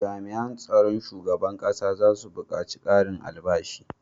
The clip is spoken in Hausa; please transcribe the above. Jami an tsaron shugaban ƙasa zasu bukaci karin albashi